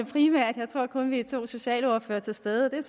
primært jeg tror kun vi er to socialordførere til stede og det